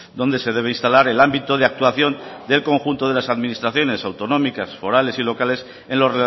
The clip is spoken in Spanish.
donde se debe instalar el ámbito de actuación del conjunto de las administraciones autonómicas forales y locales en lo